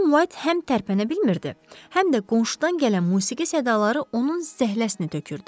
Xanım White həm tərpənə bilmirdi, həm də qonşudan gələn musiqi sədaları onun zəhləsini tökürdü.